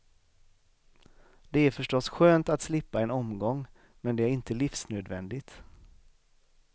Det är förstås skönt att slippa en omgång, men det är inte livsnödvändigt.